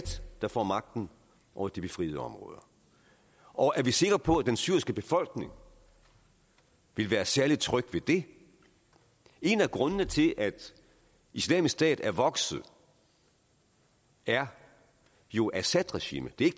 der får magten over de befriede områder og er vi sikre på at den syriske befolkning vil være særlig tryg ved det en af grundene til at islamisk stat er vokset er jo assadregimet det er